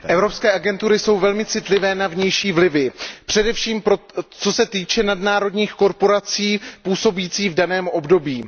Pane předsedající, evropské agentury jsou velmi citlivé na vnější vlivy, především co se týče nadnárodních korporací působících v daném odvětví.